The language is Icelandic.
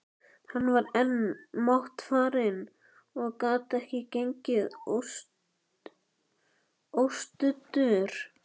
Hann var enn máttfarinn og gat ekki gengið óstuddur.